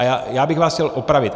A já bych vás chtěl opravit.